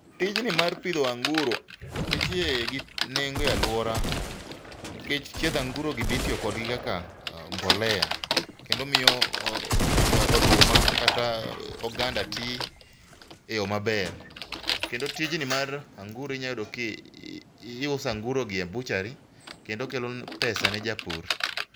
Tijni mar pidho anguro nitie gi nengo e alwora nikech chiedh angurogi be itiyo kodgi kaka mbolea kendo miyo oduma kata oganda ti e yo maber. Kendo tijni mar anguro inya yudo kiuso angurogi e butchery kendo kelo pesa ne japur.